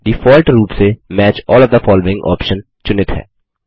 default रूप से match all of the following option चुनित है